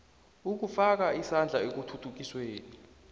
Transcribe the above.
ukufaka isandla ekuthuthukisweni